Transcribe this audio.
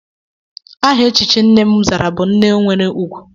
Aha echichi nne m zara bu nne nwere ùgwù.